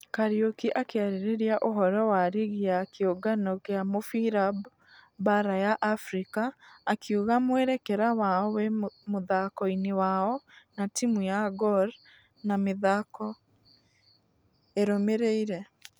Kariuki akĩarĩrĩria ũhoro wa rigi ya kĩũngano gĩa mũfira baara ya africa , akiuga mwerekera wao wĩmũthako-inĩ wao na timũ ya gor na mĩthako ĩrũmĩreire.